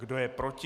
Kdo je proti?